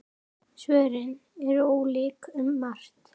Svörin eru ólík um margt.